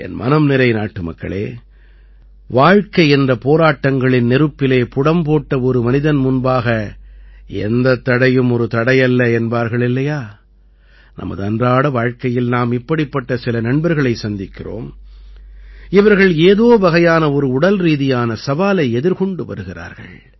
என் மனம்நிறை நாட்டுமக்களே வாழ்க்கை என்ற போராட்டங்களின் நெருப்பிலே புடம் போட்ட ஒரு மனிதன் முன்பாக எந்தத் தடையும் ஒரு தடையல்ல என்பார்கள் இல்லையா நமது அன்றாட வாழ்க்கையில் நாம் இப்படிப்பட்ட சில நண்பர்களைச் சந்திக்கிறோம் இவர்கள் ஏதோ வகையான ஒரு உடல்ரீதியான சவாலை எதிர்கொண்டு வருகிறார்கள்